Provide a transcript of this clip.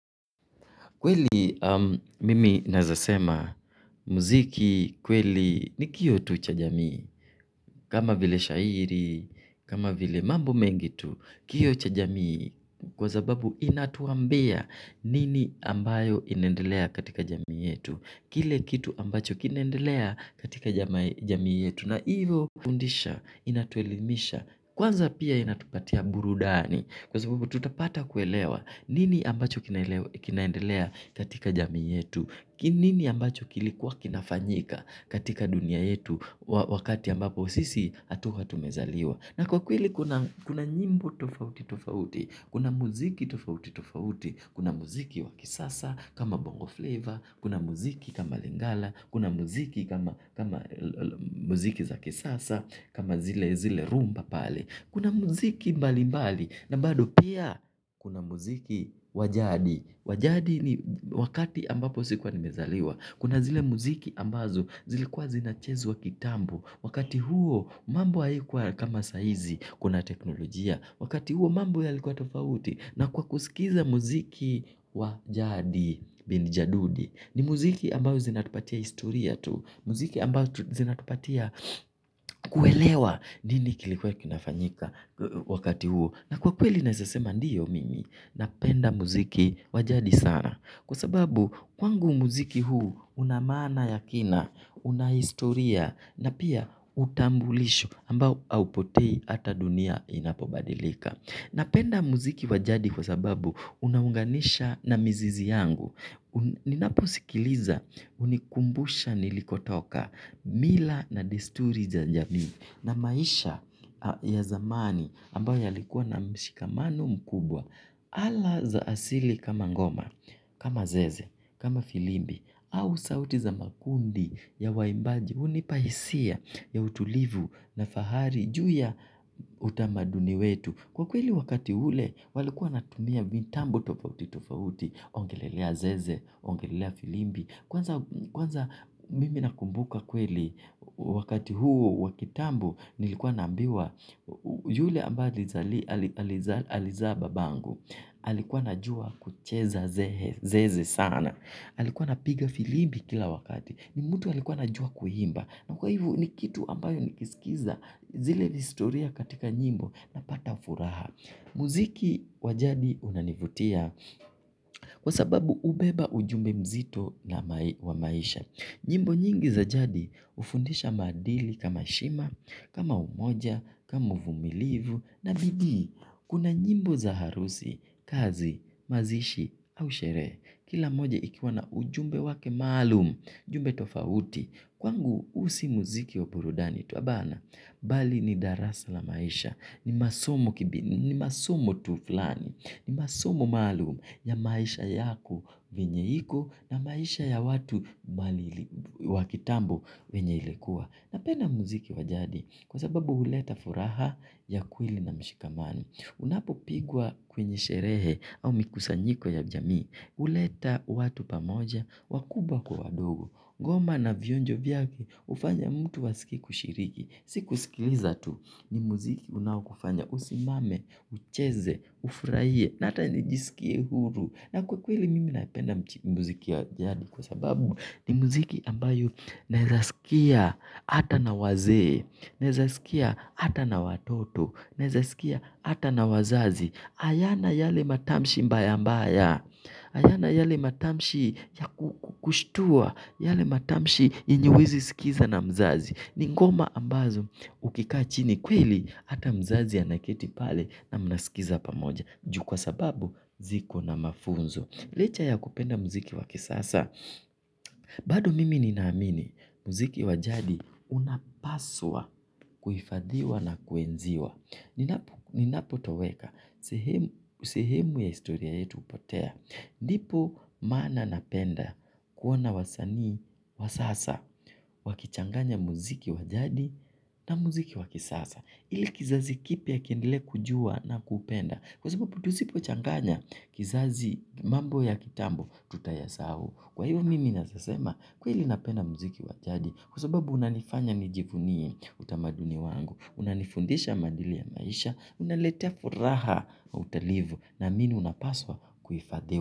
Kweli mimi nazasema, muziki kweli ni kiyo tu cha jamii, kama vile shairi, kama vile mambo mengitu, kiyo cha jamii, kwa zababu inatuambia nini ambayo inendelea katika jamii yetu. Kile kitu ambacho kinaendelea katika jami yetu na hivyo kufundisha inatuelimisha kwanza pia inatupatia burudani kwa sababu tutapata kuelewa nini ambacho kinaendelea katika jami yetu, nini ambacho kilikuwa kinafanyika katika dunia yetu wakati ambapo usisi atuwa tumezaliwa. Na kwa kweli kuna nyimbo tofauti tofauti. Kuna muziki tofauti tofauti. Kuna muziki wakisasa kama bongo flavor. Kuna muziki kama lingala. Kuna muziki kama muziki za kisasa kama zile zile rumba pale. Kuna muziki mbali mbali. Na bado pia kuna muziki wajadi. Wajadi ni wakati ambapo sikuwa nimezaliwa. Kuna zile muziki ambazo zilikuwa zinachezuwa kitambo. Wakati huo mambo haikuwa kama saizi kuna teknolojia. Wakati huo mambo ya likuwa tofauti. Na kwa kusikiza muziki wajadi bindi jadudi. Ni muziki ambazo zinatupatia historia tu. Muziki ambazo zinatupatia kuelewa nini kilikuwa kinafanyika wakati huo. Na kwa kweli naesasema ndiyo mingi na penda muziki wajadi sana. Kwa sababu kwangu muziki huu unamana yakina, unahistoria na pia utambulisho ambao haupotei ata dunia inapobadilika. Napenda muziki wajadi kwa sababu unahunganisha na mzizi yangu. Ninapusikiliza unikumbusha nilikotoka mila na desturi za jami na maisha ya zamani ambao yalikuwa na mshikamano mkubwa. Ala za asili kama ngoma kama zeze kama filimbi au sauti za makundi ya waimbaji hunipa hisia ya utulivu na fahari juu ya utamaduni wetu. Kwa kweli wakati hule walikuwa wanatumia vintambu tofauti tofauti. Ongelelea zeze, ongelelea filimbi. Kwanza mimi nakumbuka kweli. Wakati huo wakitambu nilikuwa nambiwa yule amba aliza babangu. Alikuwa na jua kucheza zeze sana. Alikuwa na piga filimbi kila wakati. Nimutu alikuwa na jua kuhimba. Na kwa hivu ni kitu ambayo ni kiskiza. Zile historia katika nyimbo na pata ufuraha. Muziki wajadi unanivutia. Kwa sababu ubeba ujumbe mzito na wa maisha. Nyimbo nyingi za jadi ufundisha madili kama shima kama umoja, kama vumilivu, na bidi, kuna nyimbo za harusi, kazi, mazishi, au shere, kila moja ikiwana ujumbe wake malum, ujumbe tofauti, kwangu usi muziki wa burudani, tu abana, bali ni darasa la maisha, ni masomo tuflani, ni masomo malum ya maisha yako venyeiko na maisha ya watu wakitambo venye ilikuwa. Napenda muziki wajadi kwa sababu uleta furaha ya kweli na mshikamano unapopigwa kwenye sheree au mikusanyiko ya jamii huleta watu pamoja wakubwa kwa wadogo ngoma na vionjo vyake hufanya mtu asikie kushiriki si kusikiliza tu ni muziki unao kufanya usimame, ucheze, ufuraiye, nata nijisikie huru. Na kweli mimi napenda muziki wajadi kwa sababu ni muziki ambayo nezasikia hata na waze, nezasikia hata na watoto, nezasikia hata na wazazi. Ayana yale matamshi mbaya mbaya, ayana yale matamshi ya kushtua, yale matamshi yenye huwezi sikiza na mzazi. Ni ngoma ambazo ukikachini kweli hata mzazi anaketi pale na mnasikiza pamoja. Juu kwa sababu ziko na mafunzo. Licha ya kupenda mziki wakisasa. Bado mimi ninaamini, mziki wajadi unapaswa kuifadhiwa na kuenziwa. Ninapo toweka, sehemu ya istoria yetu upotea. Ndipo mana napenda kuona wasanii, wasasa, wakichanganya muziki wajadi na muziki wakisasa. Ili kizazi kipia kiendele kujua na kupenda. Kwa sababu tuzipo changanya kizazi mambo ya kitambo tutayasahu. Kwa iyo mimi nasasema kwa ili napenda muziki wajadi. Kwa sababu unanifanya nijifunie utamaduni wangu. Unanifundisha mandili ya maisha. Unaletea furaha na utalivu namini unapaswa kuifadiwa.